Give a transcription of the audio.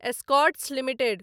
Escorts limited